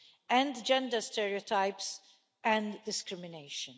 and gender stereotypes and discrimination.